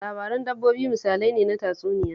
Labaran dabbobi misalai ne na tatsuniya